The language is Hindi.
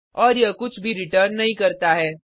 और यह कुछ भी रिटर्न नहीं करता है